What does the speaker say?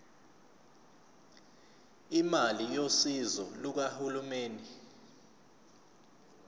imali yosizo lukahulumeni